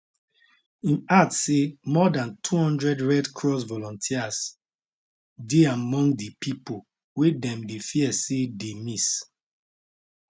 im add say more dan 200 red cross volunteers dey among di pipo wey dem dey fear say dey miss